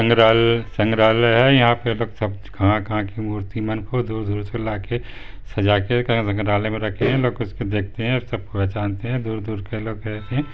संग्राल--संग्रहालय है यहाँ पे लोग सब कहाँ कहाँ की मूर्ति मन को दूर दूर से लाके सजाके संग्रहालय मे रखी है लोग उसको देखते है सब पहचानते है दूर दूर के लोग है।